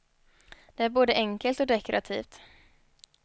Det är både enkelt och dekorativt.